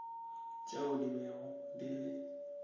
tšeo di bego di le